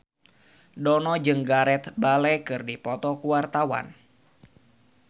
Dono jeung Gareth Bale keur dipoto ku wartawan